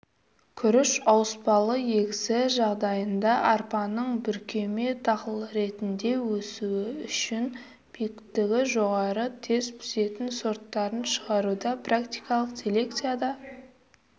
күріш ауыспалы егісі жағдайында арпаны бүркеме дақыл ретінде өсіру үшін биіктігі жоғары тез пісетін сорттарын шығаруда практикалық селекцияда